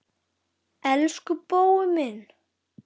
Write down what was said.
Elsku Bói minn.